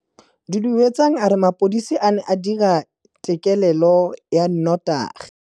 Duduetsang a re mapodisa a ne a dira têkêlêlô ya nnotagi.